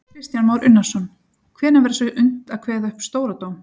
Kristján Már Unnarsson: Hvenær verður svo unnt að kveða upp stóra dóm?